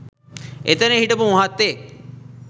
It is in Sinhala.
එතන හිටපු මහත්තයෙක්